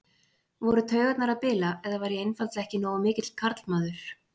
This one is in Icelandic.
Voru taugarnar að bila eða var ég einfaldlega ekki nógu mikill karlmaður?